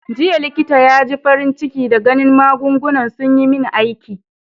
Jiya likitan ya ji farin ciki da ganin magungunan sun yi min aiki.